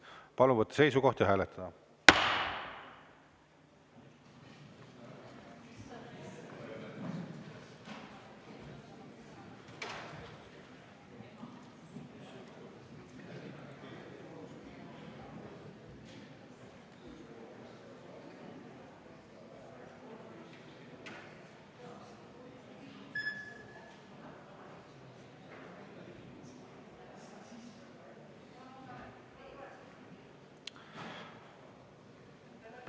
Palun võtta seisukoht ja hääletada!